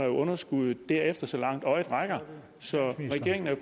underskud derefter så langt øjet rækker så regeringen er